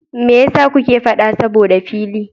Mai yasa kuke faɗa saboda fili?